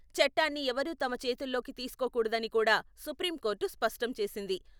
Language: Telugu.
చట్టాన్ని ఎవరూ తమ చేతుల్లోకి తీసుకోకూడదని కూడా సుప్రీంకోర్టు స్పష్టం చేసింది.